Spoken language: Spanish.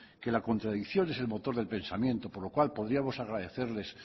que la contradicción es el motor del pensamiento con lo cual podríamos agradecerles